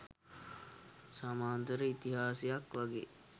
සමාන්තර ඉතිහාසයක් වගේ.